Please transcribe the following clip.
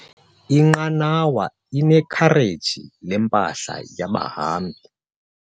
Inqanawa inekhareji lempahla yabahambi.